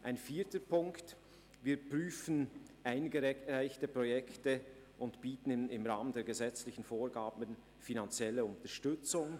Ein vierter Punkt: Wir prüfen eingereichte Projekte und bieten im Rahmen der gesetzlichen Vorgaben die finanzielle Unterstützung.